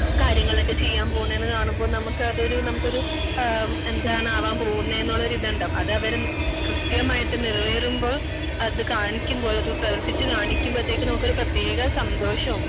കാര്യങ്ങളൊക്കെ ചെയ്യാൻ പോകുന്നത് എന്ന് കാണുമ്പോ നമുക്ക് അതൊരു നമുക്ക് ഒരു ആ എന്താണാവൻ പോകുന്നെ എന്നുള്ള ഒരു ഇത് ഉണ്ടാകും അത് അവർ കൃത്യമായിട്ട് നിറവേറുമ്പോ അത് കാണിക്കുമ്പോ ഉള്ളത് പ്രവർത്തിച്ചു കാണിക്കുമ്പോത്തേക്കും നമുക്ക് ഒരു പ്രത്യേക സന്തോഷോം